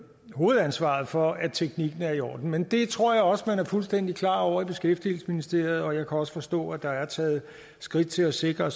hovedansvaret for at teknikken er i orden men det tror jeg også man er fuldstændig klar over i beskæftigelsesministeriet og jeg kan også forstå at der er taget skridt til at sikre